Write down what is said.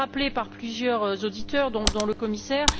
Cela a été rappelé par plusieurs auditeurs, dont le commissaire.